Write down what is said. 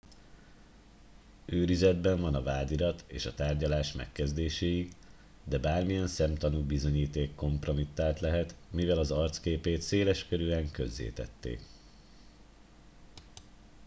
őrizetben van a vádirat és a tárgyalás megkezdéséig de bármilyen szemtanú bizonyíték kompromittált lehet mivel az arcképét széleskörűen közzétették